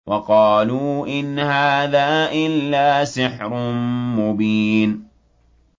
وَقَالُوا إِنْ هَٰذَا إِلَّا سِحْرٌ مُّبِينٌ